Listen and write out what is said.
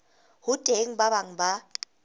ho teng ba bang ba